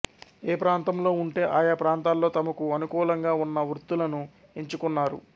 ఏ ప్రాంతంలో ఉంటే ఆయా ప్రాంతాల్లో తమ కు అనుకూలగా ఉన్న వృత్తులను ఎంచుకున్నారు